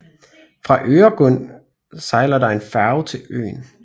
Fra Öregrund sejler der en færge til øen